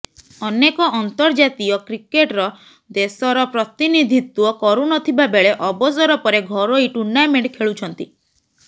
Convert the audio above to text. ଅନେକ ଅନ୍ତର୍ଜାତୀୟ କ୍ରିକେଟ୍ର ଦେଶର ପ୍ରତିନିଧିତ୍ୱ କରୁ ନଥିବା ବେଳେ ଅବସର ପରେ ଘରୋଇ ଟୁର୍ଣ୍ଣାମେଣ୍ଟ ଖେଳୁଛନ୍ତି